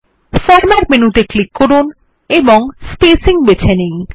format menu ত়ে click করুন এবং স্পেসিং বেছে নিন